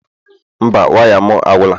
Mba, waya m agwụla